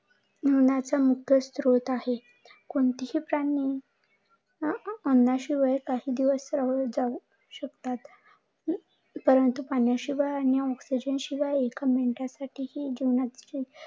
मुख्य स्त्रोत आहे. कोणती ही प्राणी अन्नाशिवाय काही दिवस राहू शकतात, पण पाण्याशिवाय आणि ऑक्ष्येजन शिवाय एक मिनितही